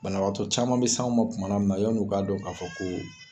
Banabagatɔ caman bɛ sa ma kuma na mina yani 'u k'a dɔn k'a fɔ ko.